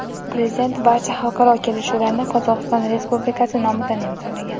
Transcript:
Prezident barcha xalqaro kelishuvlarni Qozog‘iston Respublikasi nomidan imzolagan.